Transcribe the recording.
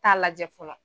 Taa lajɛ fɔlɔ